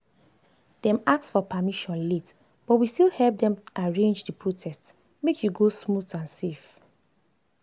dem ask for permission late but we still help them arrange the protest make e go smooth and safe.